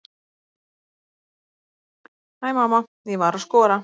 Hæ mamma, ég var að skora!